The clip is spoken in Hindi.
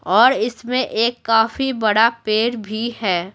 और इसमें एक काफी बड़ा पेड़ भी है।